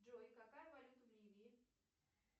джой какая валюта в ливии